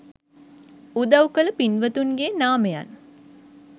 උදව් කළ පින්වතුන්ගේ නාමයන්